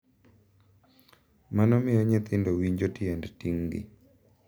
Mano miyo nyithindo winjo tiend ting’gi .